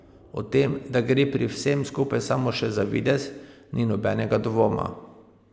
O tem, da gre pri vsem skupaj samo še za videz, ni nobenega dvoma.